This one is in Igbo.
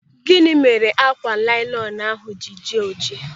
Gịnị mere ákwà nailọnu ahụ ji jie ọjị?